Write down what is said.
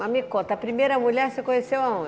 Mas me conta, a primeira mulher você conheceu aonde?